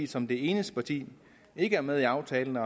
som det eneste parti ikke er med i aftalen